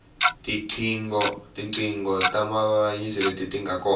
tiqhingo ta mavayivayi leti tinga kona